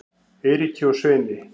Eiríki og Sveini